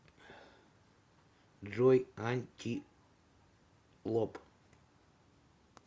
джой антилоп